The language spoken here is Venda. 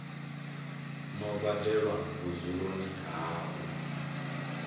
no badelwa vhudzuloni ha u